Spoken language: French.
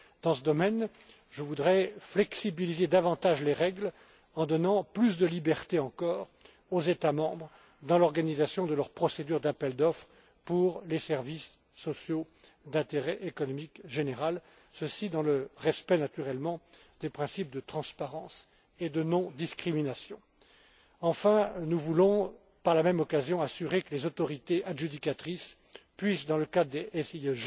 général. Dans ce domaine, je voudrais assouplir davantage les règles, en donnant plus de liberté encore aux États membres dans l'organisation de leurs procédures d'appels d'offres pour les services sociaux d'intérêt économique général, dans le respect, naturellement, des principes de transparence et de non discrimination. Enfin, nous voulons par la même occasion assurer que les autorités adjudicatrices puissent, dans le